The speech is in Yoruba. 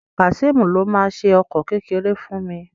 Kazeem ló má ṣe ọkọ kékeré fún mí